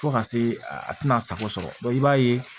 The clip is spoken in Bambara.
Fo ka se a tɛna sago sɔrɔ i b'a ye